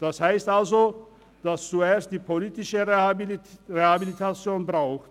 Das heisst also, dass es zuerst die politische Rehabilitation braucht.